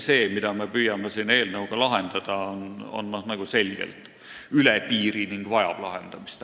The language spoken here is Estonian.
See, mida me püüame siin eelnõuga lahendada, on aga selgelt üle piiri ja vajab lahendamist.